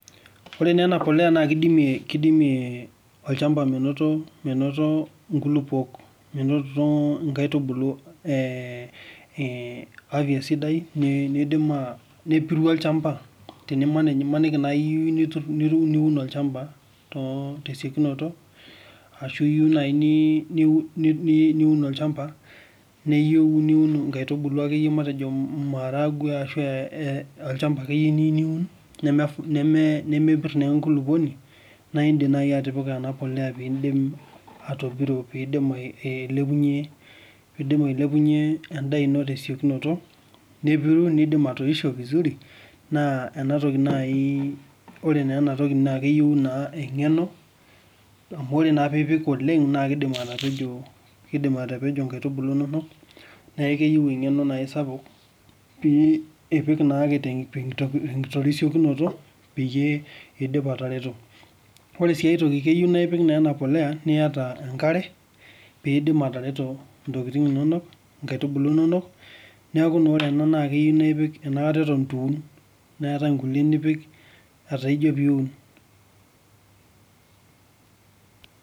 Ore naa ena poleya naa keidimie olchamba menotito inkulupuok nepiru olchamba imaniki naaji iyieu nitur olchamba tesiokinoto ashuu iyieu naaji niun olchamba niyieu niun inkaitubulu akeyie aa maharangwe ashu iniyeiu akeyie niun nemepir naa enkulupuoni naa indiim naaji atimira peepiru naa enkulupuoni pee eidim aliepunyie endaa ino tesiokinoto nepiru nebulu vizuri naa enatoki naa naaji ore naa ena toki naa keyieu naa eng'eno amu ore naa piipik oleng naa keidim atelejo inkaitubulu inonok naakeyieu ing'eno naa naaji sapuk pee ipik naake tenkitorisiokinoto peyie eidip atareto ore sii ae toki keyieu na ipik ena poleya enkare peetum atareto niaku naa ore ena naa ipik enakata eton eitu iun neeta inkulie nipik etaa ijio peeiun.